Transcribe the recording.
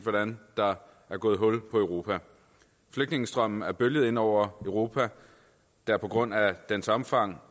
hvordan der er gået hul på europa flygtningestrømmen er bølget ind over europa der på grund af dens omfang